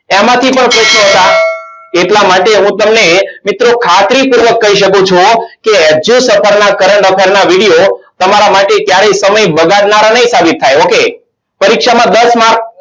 એમાંથી પણ પ્રશ્નો હતા. એટલા માટે હું તમને મિત્રો ખાતરીપૂર્વક કહી શકું છું. કે edue suffer ના current affair ના video તમારા માટે ક્યારે સમય બગાડનારા નહીં સાબિત થાય ઓકે પરીક્ષામાં દસ marks